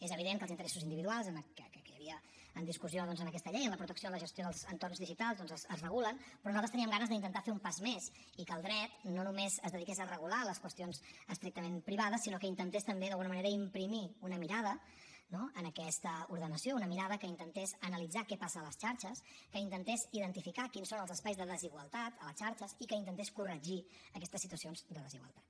és evident que els interessos individuals que hi havia en discussió doncs en aquesta llei en la protecció i en la gestió dels entorns digitals es regulen però nosaltres teníem ganes d’intentar fer un pas més i que el dret no només es dediqués a regular les qüestions estrictament privades sinó que intentés també d’alguna manera imprimir una mirada no en aquesta ordenació una mirada que intentés analitzar què passa a les xarxes que intentés identificar quins són els espais de desigualtat a les xarxes i que intentés corregir aquestes situacions de desigualtat